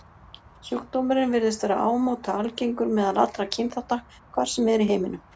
Sjúkdómurinn virðist vera ámóta algengur meðal allra kynþátta, hvar sem er í heiminum.